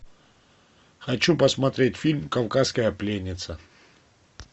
хочу посмотреть фильм кавказская пленница